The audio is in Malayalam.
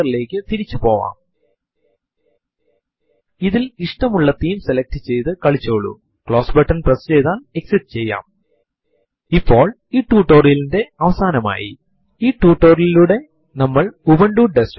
നമുക്ക് ചർച്ച ചെയ്യപ്പെടാവുന്നതായ മറ്റു പല command കളും അവിടെയുണ്ട് പക്ഷെ നമുക്ക് തല്ക്കാലം ഇത്രയും കൊണ്ട് നിർത്താംയഥാർത്ഥത്തിൽ ചർച്ച ചെയ്യപ്പെട്ടിട്ടുള്ള എല്ലാ command കൾക്കുപോലും ഇവിടെ പരാമർശിക്കപ്പെടാത്തതായ നിരവധി option കളും സാധ്യതകളും ഉണ്ട്